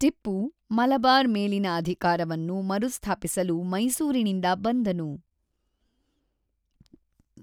ಟಿಪ್ಪು ಮಲಬಾರ್ ಮೇಲಿನ ಅಧಿಕಾರವನ್ನು ಮರುಸ್ಥಾಪಿಸಲು ಮೈಸೂರಿನಿಂದ ಬಂದನು.